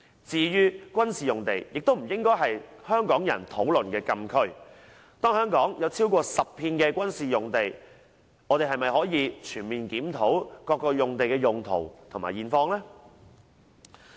至於軍事用地，也不應是香港人討論的禁區，當香港有超過10幅的軍事用地，政府是否可以全面檢討各用地的用途和現況呢？